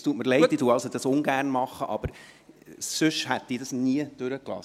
Es tut mir leid, ich mache dies ungern, aber sonst hätte ich dies nie durchgelassen.